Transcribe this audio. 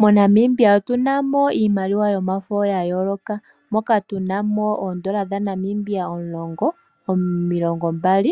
MoNamibia otuna mo iimaliwa yomafo ya yooloka, moka tunamo oN$10, N$20, N$50,